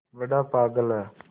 बड़ा पागल है